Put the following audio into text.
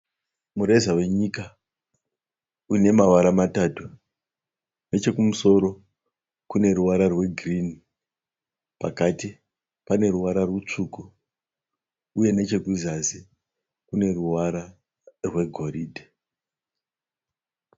Mureza wenyika une mavara matatu nechekumusoro kune ruvarwa rwegirini, pakati pane ruvara rutsvuku uye nechekuzasi kune ruvara rwegoridhe.